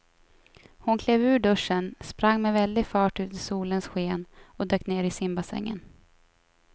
Hon klev ur duschen, sprang med väldig fart ut i solens sken och dök ner i simbassängen.